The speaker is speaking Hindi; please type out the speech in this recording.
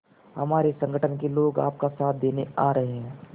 हमारे संगठन के लोग आपका साथ देने आ रहे हैं